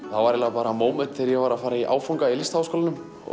var eiginlega bara móment þegar ég var að fara í áfanga í Listaháskólanum